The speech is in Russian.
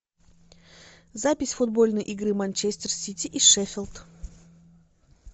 запись футбольной игры манчестер сити и шеффилд